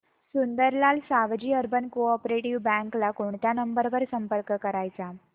Sundarlal Savji urban co-op bank ला कोणत्या number वर संपर्क करायचा